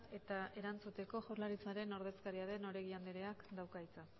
eta erantzuteko jaurlaritzaren ordezkaria den oregi andreak dauka hitza